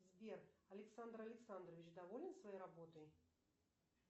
сбер александр александрович доволен своей работой